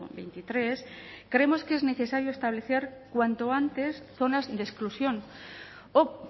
veintitrés creemos que es necesario establecer cuanto antes zonas de exclusión o